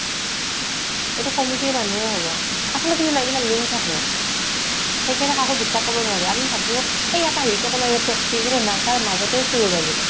এইটো committee ৰ মানুহে হব। আচলতে কিন জানা এইবিলাক link থাকে। সেই কাৰণে কাকো বিশ্বাস কৰিব নোৱাৰি। আমি ভাবো এই ইয়াতে আহিছো একো নাই দে safety কিন্তু নাই তাৰ মাজতে চুৰ ওলাই যাব।